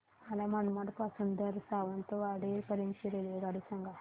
मला मनमाड पासून तर सावंतवाडी पर्यंत ची रेल्वेगाडी सांगा